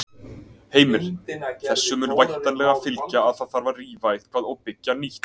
Heimir: Þessu mun væntanlega fylgja að það þarf að rífa eitthvað og byggja nýtt?